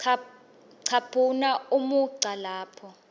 caphuna umugca lapho